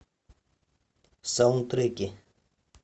саундтреки